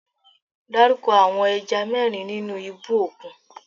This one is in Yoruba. Dárúkọ àwọn ẹja mẹ́rin nínú ibú òkun?